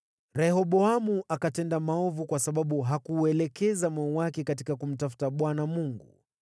Rehoboamu akatenda maovu kwa sababu hakuuelekeza moyo wake katika kumtafuta Bwana Mungu.